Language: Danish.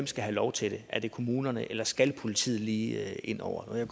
skal have lov til det er det kommunerne eller skal politiet lige ind over jeg